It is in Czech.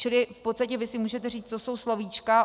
Čili v podstatě vy si můžete říct, to jsou slovíčka.